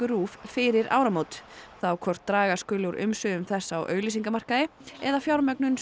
RÚV fyrir áramót þá hvort draga skuli úr umsvifum þess á auglýsingamarkaði eða fjármögnun